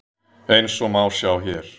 Eins og má sjá hér.